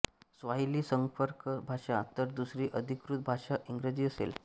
Swahili संपर्कभाषा तर दुसरी अधिकृत भाषा इंग्रजी असेल